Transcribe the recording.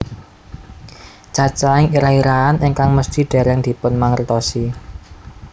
Cacahing irah irahan ingkang mesti dèrèng dipunmangertosi